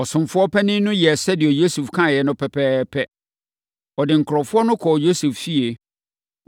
Ɔsomfoɔ panin no yɛɛ sɛdeɛ Yosef kaeɛ no pɛpɛɛpɛ. Ɔde nkurɔfoɔ no kɔɔ Yosef fie.